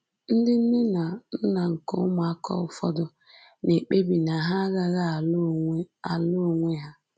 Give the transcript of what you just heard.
Ndị nne na nna nke ụmụaka ụfọdụ na-ekpebi na ha agaghị alụ onwe alụ onwe ha